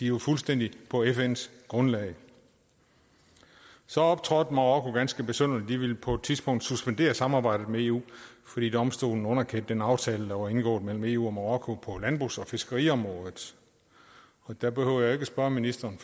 jo fuldstændig på fns grundlag så optrådte marokko ganske besynderligt de ville på et tidspunkt suspendere samarbejdet med eu fordi domstolen underkendte den aftale der var indgået mellem eu og marokko på landbrugs og fiskeriområdet der behøver jeg ikke spørge ministeren